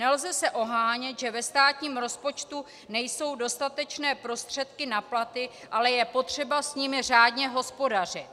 Nelze se ohánět, že ve státním rozpočtu nejsou dostatečné prostředky na platy, ale je potřeba s nimi řádně hospodařit.